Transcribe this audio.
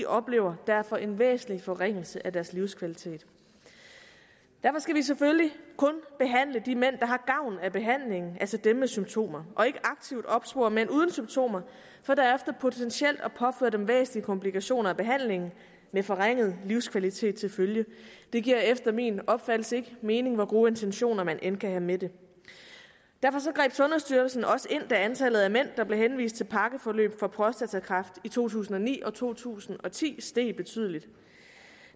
oplever derfor en væsentlig forringelse af deres livskvalitet derfor skal vi selvfølgelig kun behandle de mænd der har gavn af behandlingen altså dem med symptomer og ikke aktivt opspore mænd uden symptomer for derefter potentielt at påføre dem væsentlige komplikationer af behandlingen med forringet livskvalitet til følge det giver efter min opfattelse ikke mening hvor gode intentioner man end kan have med det derfor greb sundhedsstyrelsen også ind da antallet af mænd der blev henvist til pakkeforløb for prostatakræft i to tusind og ni og to tusind og ti steg betydeligt